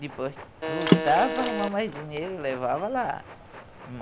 Depois, lutava para arrumar mais dinheiro e levava lá.